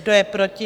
Kdo je proti?